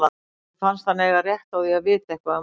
Honum fannst hann eiga rétt á því að vita eitthvað um málið.